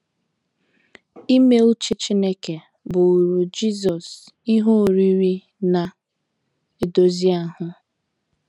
Ime uche Chineke bụụrụ Jisọs “ ihe oriri ” na - edozi ahụ.